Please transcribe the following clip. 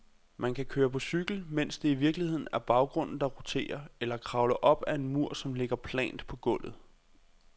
Man kan køre på cykel, mens det i virkeligheden er baggrunden, der roterer, eller kravle op ad en mur, som ligger plant på gulvet.